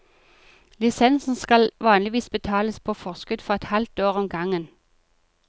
Lisensen skal vanligvis betales på forskudd for et halvt år om gangen.